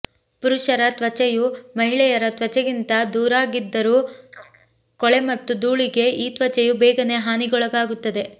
ಪುರುಷರ ತ್ವಚೆಯು ಮಹಿಳೆಯರ ತ್ವಚೆಗಿಂತ ದೊರಗಾಗಿದ್ದರೂ ಕೊಳೆ ಮತ್ತು ಧೂಳಿಗೆ ಈ ತ್ವಚೆಯು ಬೇಗನೇ ಹಾನಿಗೊಳಗಾಗುತ್ತದೆ